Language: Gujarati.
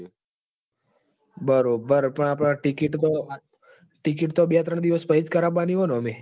બરઓબ પણ આ ટીકીટ તો ટીકીટ તો બે ત્રણ દિવસ પહીજ કરવાની હોય ઓમે